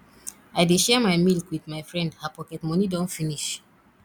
i dey share my milk wit my friend her pocket moni don finish